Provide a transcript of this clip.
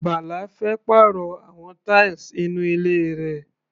Bala fẹ́ pàrọ̀ àwọn tiles inú ilé rẹ̀.